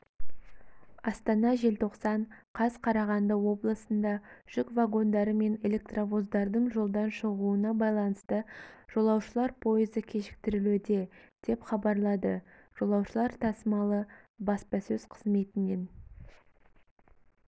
астана желтоқсан қаз қарағанды облысында жүк вагондары мен электровоздардың жолдан шығуына байланысты жолаушылар пойызы кешіктірілуде деп хабарлады жолаушылар тасымалы баспасөз қызметінен